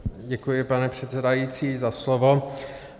Děkuji, pane předsedající, za slovo.